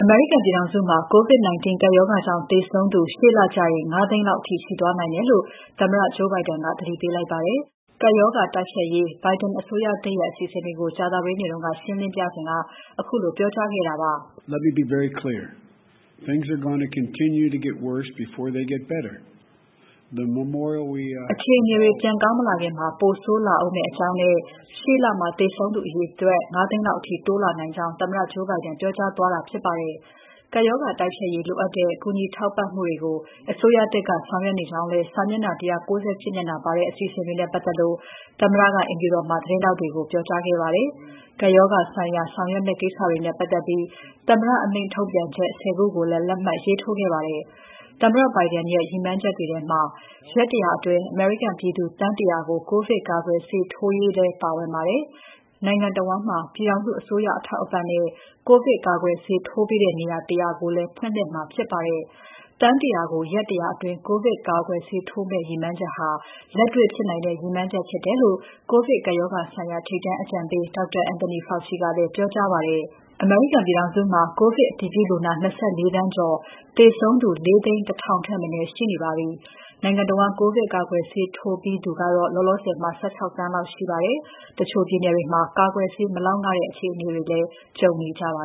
မေရိကန်ပြည်ထောင်စုမှာ COVID-19 ကပ်ရောဂါကြောင့် သေဆုံးသူ ရှေ့လကျရင် ၅၀၀,၀၀၀ လောက်အထိရှိသွားနိုင်တယ်လို့ သမ္မတ Joe Biden က သတိပေးလိုက်ပါတယ်။ ကပ်ရောဂါတိုက်ဖျက်ရေး Biden အစိုးရသစ်ရဲ့ အစီအစဉ်တွေကို ကြာသပတေးနေ့က ရှင်းလင်းပြစဉ်က ခုလို ပြောကြားခဲ့တာပါ။ အခြေအနေတွေ ပြန်ကောင်းမလာခင် ပိုဆိုးလာဦးမယ့်အကြောင်းနဲ့ ရှေ့လမှာ သေဆုံးသူအရေအတွက် ၅၀၀,၀၀၀ လောက်အထိ တိုးလာနိုင်ကြောင်း သမ္မတ Joe Biden ပြောပါတယ်။ ကပ်ရောဂါတိုက်ဖျက်ရေး လိုအပ်တဲ့ကူညီ ထောက်ပံ့မှုတွေကို အစိုးရသစ်က ဆောင်ရွက်နေကြောင်းလည်း စာမျက်နှာ ၁၉၈ မျက်နှာပါတဲ့ အစီအစဉ်တွေနဲ့ ပတ်သက်လို့ သမ္မတက အိမ်ဖြူတော်မှာ သတင်းထောက်တွေကို ပြောကြားခဲ့ပါတယ်။ ကိုဗစ်ကပ်ရောဂါဆိုင်ရာ ဆောင်ရွက်ရမယ့်ကိစ္စတွေနဲ့ ပတ်သက်လို့ သမ္မတအမိန့် ထုတ်ပြန်ချက် ၁၀ ခုကိုလည်း လက်မှတ်ရေးထိုးခဲ့ပါတယ်။ သမ္မတ Biden ရဲ့ ရည်မှန်းချက်တွေထဲမှာ ရက် ၁၀၀ အတွင်း အမေရိကန်ပြည်သူ သန်း ၁၀၀ ကို ကိုဗစ်ကာကွယ်ဆေးထိုးရေးလည်း ပါဝင်ပါတယ်။ နိုင်ငံတဝန်းမှာ ပြည်ထောင်စုအစိုးရ အထောက်အပံ့နဲ့ ကိုဗစ်ကာကွယ်ဆေးထိုးပေးတဲ့ နေရာ ၁၀၀ ကိုလည်း ဖွင့်လှစ်မှာဖြစ်ပါတယ်။ သန်း ၁၀၀ ကို ရက် ၁၀၀ အတွင်း ကိုဗစ်ကာကွယ်ဆေးထိုးမယ့် ရည်မှန်းချက်ဟာ လက်တေ့ွ ဖြစ်နိုင်တဲ့ ရည်မှန်းချက်ဖြစ်တယ်လို့ ကိုဗစ်ကပ်ရောဂါဆိုင်ရာ ထိပ်တန်းအကြံပေး Dr. Anthony Fauci ကလည်းပြောကြားပါတယ်။ ကိုဗစ်ကပ်ရောဂါကြောင့် အမေရိကန်ပြည်ထောင်စုမှာ ကိုဗစ်အတည်ပြုလူနာ ၂၄ သန်းကျော်၊ သေဆုံးသူ ၄၀၁,၀၀၀ ထက် မနည်းရှိနေပါပြီ။ နိုင်ငံတဝန်း ကိုဗစ်ကာကွယ်ဆေးထိုးပြီးသူကတော့ လောလောဆယ် ၁၆ သန်းလောက်ရှိပါတယ်။ တချို့ပြည်နယ်တွေမှာ ကာကွယ်ဆေး မလောက်ငှတဲ့ အခြေအနေတွေလည်း ကြုံနေကြပါ